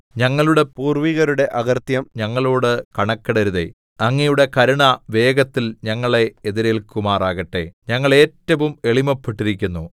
ഞങ്ങളുടെ പൂർവ്വികരുടെ അകൃത്യങ്ങൾ ഞങ്ങളോട് കണക്കിടരുതേ അങ്ങയുടെ കരുണ വേഗത്തിൽ ഞങ്ങളെ എതിരേല്ക്കുമാറാകട്ടെ ഞങ്ങൾ ഏറ്റവും എളിമപ്പെട്ടിരിക്കുന്നു